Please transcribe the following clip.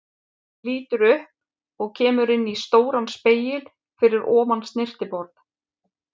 Lítur upp og kemur inn í stóran spegil fyrir ofan snyrtiborð.